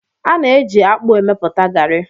A na-eji akpu emepụta garri